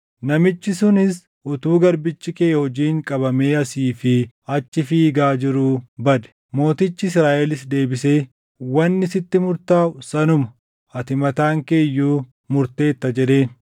Namichi sunis utuu garbichi kee hojiin qabamee asii fi achi fiigaa jiruu bade.” Mootichi Israaʼelis deebisee, “Wanni sitti murtaaʼu sanuma; ati mataan kee iyyuu murteerta” jedheen.